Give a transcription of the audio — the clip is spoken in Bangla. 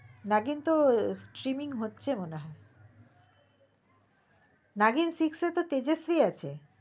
নাগিন তো trimming হচ্ছে মনে হয় নাগিন six এ তো তেজশ্রী আছে